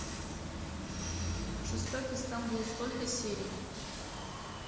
жестокий стамбул сколько серий